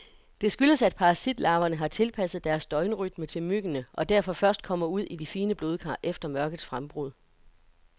Det skyldes, at parasitlarverne har tilpasset deres døgnrytme til myggene, og derfor først kommer ud i de fine blodkar efter mørkets frembrud.